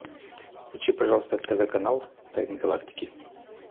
включи пожалуйста тв канал тайны галактики